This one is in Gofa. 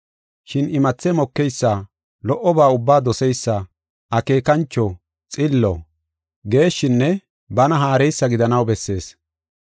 Shin imathe mokeysa, lo77oba ubbaa doseysa, akeekancho, xillo, geeshshinne bana haareysa gidanaw bessees.